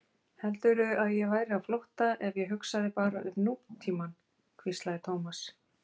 Heldurðu að ég væri á flótta ef ég hugsaði bara um nútímann? hvíslaði Thomas.